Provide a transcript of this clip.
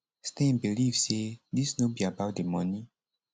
stein believe say dis no be about di money